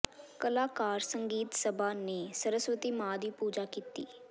ਕਲਾਕਾਰ ਸੰਗੀਤ ਸਭਾ ਨੇ ਸਰਸਵਤੀ ਮਾਂ ਦੀ ਪੂਜਾ ਕੀਤੀ